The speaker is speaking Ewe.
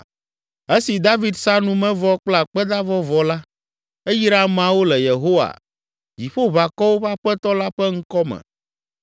Esi David sa numevɔ kple akpedavɔ vɔ la, eyra ameawo le Yehowa, Dziƒoʋakɔwo ƒe Aƒetɔ la ƒe ŋkɔ me